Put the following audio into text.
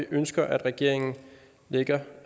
ønsker at regeringen lægger